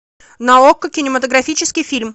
на окко кинематографический фильм